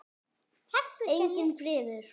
Enginn friður.